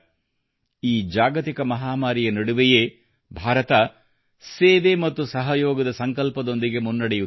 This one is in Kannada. ಈ ಜಾಗತಿಕ ಮಹಾಮಾರಿಯ ನಡುವೆಯೇ ಭಾರತ ಸೇವೆ ಮತ್ತು ಸಹಯೋಗ ದ ಸಂಕಲ್ಪದೊಂದಿಗೆ ಮುನ್ನಡೆಯುತ್ತಿದೆ